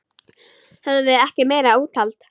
Höfðum við ekki meira úthald?